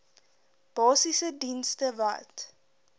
basiese dienste wat